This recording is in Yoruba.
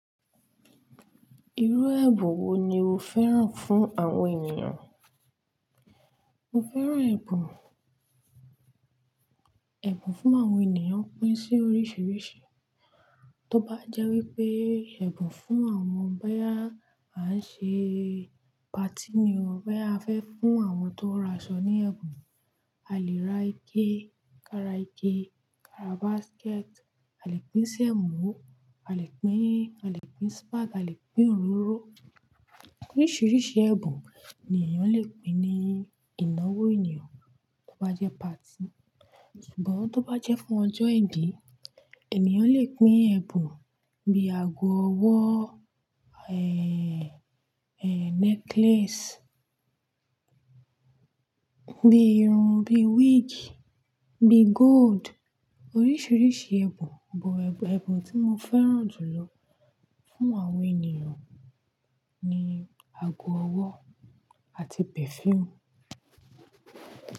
Irú ẹ̀bùn wo ni o fẹ́ràn fún àwọn ènìyàn? Mo fẹ́ràn ẹ̀bùn, ẹ̀bùn fún àwọn ènìyàn pín sí oríṣiríṣi. Tó bá jẹ́ wípé ẹ̀bùn fún àwọn báyá, máa ṣe party ni o, bá fẹ́ fún àwọn tó raṣọ ní ẹ̀bùn, a lè ra ike, kara ike, kara basket, a lè pín ṣẹ́mọ, a lè pín, a lè pín spag, a lè pín òróró. Oríṣiríṣi ẹ̀bùn ni èyàn le pín ní ìnáwó ènìyàn tó bá jẹ́ party. Ṣùgbọ́n tó bá jẹ́ fún ọjọ́ ìbí, ènìyàn le pín ẹ̀bùn bíi ago ọwọ́, ẹ́ẹ́, ẹ́ẹ́ necklace, bíi irun, bíi wig, bíi gold. Oríṣiríṣi ẹ̀bùn, but ẹ̀bùn tí mo fẹ́ràn jùlọ fún àwọn ènìyàn ni ago ọwọ́ àti perfume.